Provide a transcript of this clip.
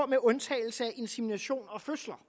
med undtagelse af insemination og fødsler